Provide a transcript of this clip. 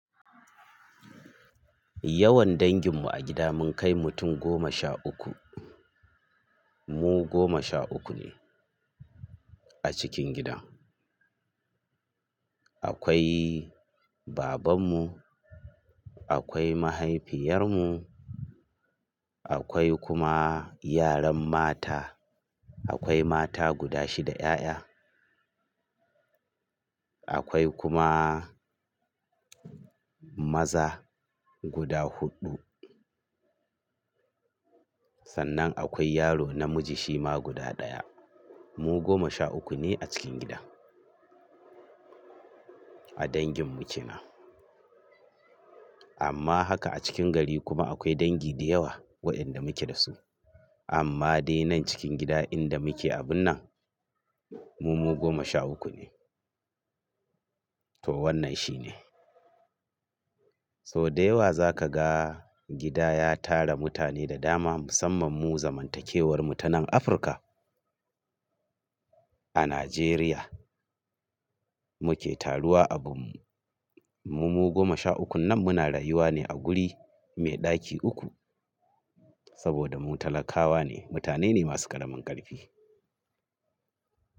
Yawan dangin mu a gida mun kai mutum goma sha ukku. Mu goma sha uku ne a cikin gida. Akwai baban mu, akwai mahaifiyar mu, akwai kuma yaran mata. Akwai mata guda shida 'ƴa'ƴa. Akwai kuma maza guda huɗu. Sannan akwai yaro namiji shima guda ɗaya. Mu goma sha ukku ne a cikin gida. A dangin mu ke nan. Amma haka a cikin gari kuma akwai dangi da yawa wa'yanda muke da su. Amma dai nan cikin gida inda muke abun nan, mu mu goma sha ukku ne. To wannan shine. So da yawa za ka ga gida ya tara mutane da dama musamman mu zamantakewar mu ta nan Afirka. A Najeriya muke taruwa abunmu. Mu goma sha ukkun nan muna rayuwa ne a guri mai ɗaki ukku saboda mu talakawa ne, mutane ne masu ƙaramin ƙarfi.